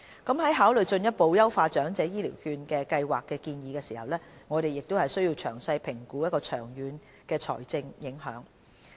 在考慮進一步優化長者醫療券計劃的建議時，我們須詳細評估其長遠的財政影響。